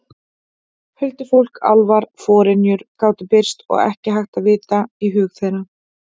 Huldufólk, álfar, forynjur gátu birst og ekki hægt að vita í hug þeirra.